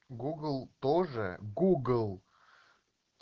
гугл тоже гугл